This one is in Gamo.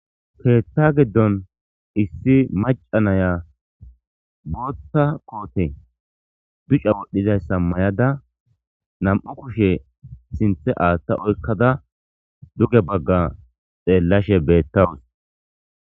Ketha giddon issi maca naya bootha koote duca wodhidayssa mayada na'mu kushe sinthe aathta oykkada duge bagga xeellashe beettawus